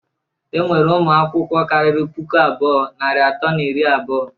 Enwere ụmụ akwụkwọ kariri puku abụọ, narị atọ na iri abụọ.